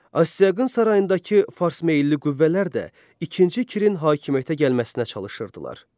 Astiaqın sarayındakı farsmeylli qüvvələr də ikinci Kirin hakimiyyətə gəlməsinə çalışırdılar.